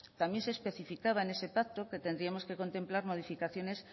también se especificaba en ese pacto que tendríamos que contemplar modificaciones